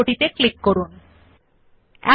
শব্দ মথার্স পরে কার্সার স্থাপন করুন